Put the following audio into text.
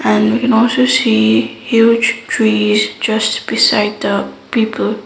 and we can also see huge tree is just beside the people.